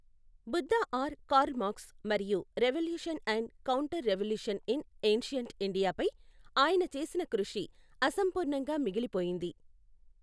Buddha or Karl Marx మరియు revolution and counter revolution in ancient India పై ఆయన చేసిన కృషి అసంపూర్ణంగా మిగిలిపోయింది.